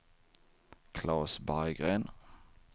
Claes Berggren